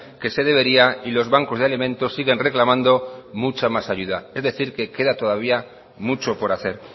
que se debería y los bancos de alimentos siguen reclamando mucha más ayuda es decir queda todavía mucho por hacer